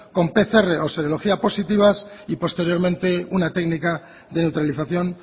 con pcr o serología positivas y posteriormente una técnica de neutralización